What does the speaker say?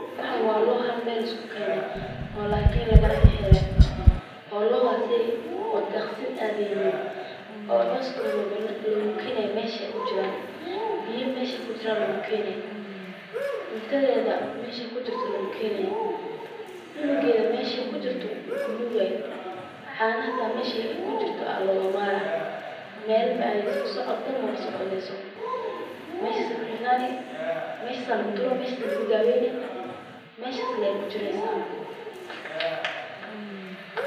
Waxaan waa loo hal meel lisku keene oo lakala xire oo daqsin aadeynin, cooskeeda iyo biyaha meesheeda loogu keenaya, cunugeeda meesha kunuugaayo, meeshaas ayaa lagu daweyni, meeshaas ayeey kujireysa.